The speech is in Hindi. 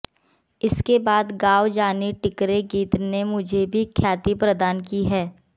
इसके बाद गांव जाणी टिकरे गीत ने भी मुझे ख्याति प्रदान की है